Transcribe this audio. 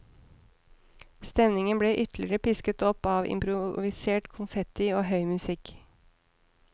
Stemningen ble ytterligere pisket opp av improvisert konfetti og høy musikk.